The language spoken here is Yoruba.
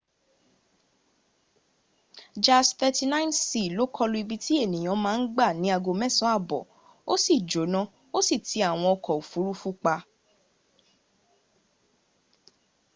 jas 39c lọ kọlu ibi tí ènìyàn ma ń gbà ní ago mẹsán àbọ̀ 0230 utc ó sì jọ́nà tó sì ti àwọn ọkọ̀ òfuruf;u pa